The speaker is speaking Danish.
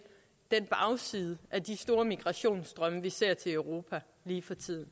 den bagside af de store migrationsstrømme vi ser i europa lige for tiden